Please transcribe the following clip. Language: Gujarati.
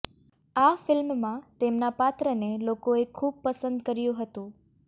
આ ફિલ્મમાં તેમના પાત્રને લોકોએ ખૂબ પસંદ કર્યું હતું